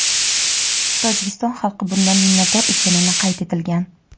Tojikiston xalqi bundan minnatdor ekanini qayd etilgan.